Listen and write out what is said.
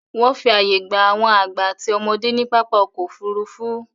Wọ́n fi àyè gba àwọn àgbà àti ọmọdé ní pápá ọkọ̀-òfurufú.